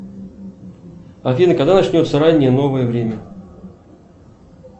афина когда начнется раннее новое время